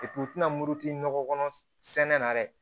u tina muruti nɔgɔ kɔnɔ sɛnɛ na dɛ